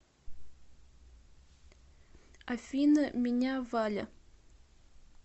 афина меня валя